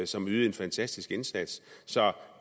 som ydede en fantastisk indsats